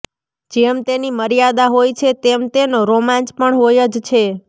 જેમ તેની મર્યાદા હોય છે તેમ તેનો રોમાંચ પણ હોય જ છે